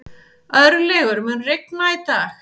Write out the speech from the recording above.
Örlygur, mun rigna í dag?